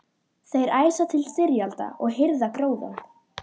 Þeir æsa til styrjalda og hirða gróðann.